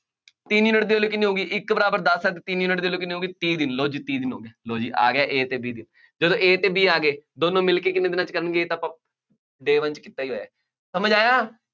ਤਿੰਨ ਯੂਨਿਟ ਦੀ value ਕਿੰਨੀ ਹੋਊਗੀ, ਇੱਕ ਬਰਾਬਰ ਦੱਸ ਆ ਤਾਂ ਤਿੰਨ ਯੂਨਿਟ ਦੀ value ਕਿੰਨੀ ਹੋ ਗਈ, ਤੀਹ ਦਿਨ, ਲਉ ਜੀ, ਤੀਹ ਦਿਨ ਹੋ ਗਏ, ਲਉ ਜੀ ਆ ਗਿਆ A ਅਤੇ B ਦੀ, ਜਦੋਂ A ਅਤੇ B ਆ ਗਏ, ਦੋਨੋ ਮਿਲਕੇ ਕਿੰਨੇ ਦਿਨਾਂ ਚ ਕਰਨਗੇ, ਇਹ ਤਾਂ ਆਪਾਂ day one ਚ ਕੀਤਾ ਹੀ ਹੋਇਆ। ਸਮਝ ਆਇਆ